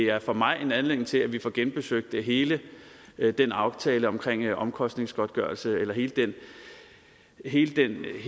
er for mig en anledning til at vi får genbesøgt hele den aftale omkring omkostningsgodtgørelse eller hele hele